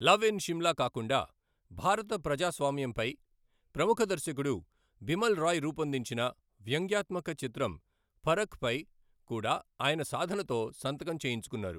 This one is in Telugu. లవ్ ఇన్ సిమ్లా కాకుండా, భారత ప్రజాస్వామ్యంపై ప్రముఖ దర్శకుడు బిమల్ రాయ్ రూపొందించిన వ్యంగ్యాత్మక చిత్రం పరఖ్ పై కూడా ఆయన సాధనతో సంతకం చేయించుకున్నారు.